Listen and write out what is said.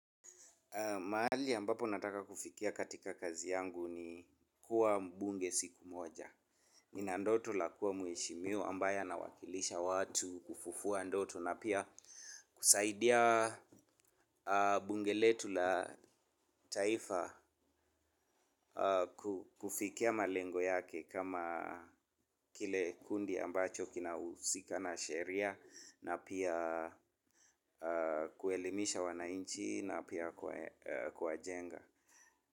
Mahali ambapo nataka kufikia katika kazi yangu ni kuwa mbunge siku moja. Nina ndoto la kuwa mheshiwa ambaye anawakilisha watu kufufua ndoto na pia kusaidia bungeletu la taifa kufikia malengo yake kama kile kundi ambacho kina usika na sheria na pia kuelimisha wananchi pia kuwachenga.